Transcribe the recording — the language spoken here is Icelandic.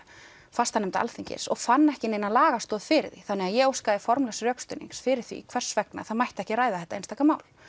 fastanefnda Alþingis og fann ekki neina lagastoð fyrir því þannig að ég óskaði formlegs rökstuðnings fyrir því hvers vegna það mætti ekki ræða þetta einstaka mál